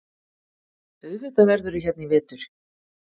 Auðvitað verðurðu hérna í vetur.